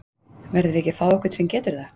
Verðum við ekki að fá einhvern sem getur það?